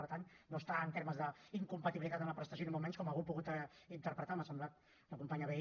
per tant no està en termes d’incompatibilitat amb la prestació ni molt menys com algú ha pogut interpretar m’ha semblat la companya vehí